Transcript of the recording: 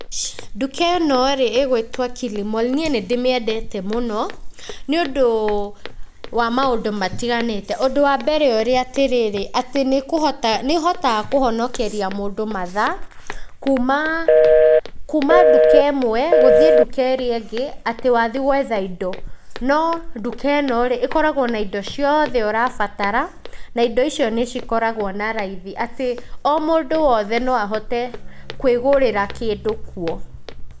Nduka ĩnorĩ ĩgwĩtwo Kilimall, nĩe nĩ ndĩmĩendete mũno, nĩ ũndũ wa maũndũ matiganĩte, ũndũ wa mbere ũrĩa tarĩrĩ, atĩ nĩ kũhota, nĩhotaga kuhonokeria mũndũ mathaa, kuma kuma nduka ĩmwe, gũthiĩ nduka ĩrĩa ĩngĩ, atĩ wathiĩ gwetha indo, no nduka ĩnorĩ ĩkoragagwo na indo cioothe ũrabatara, na indo icio nĩ cikoragwo na raithi, atĩ o mũndũ wothe noahote kwĩgurĩra kĩndũ kwo.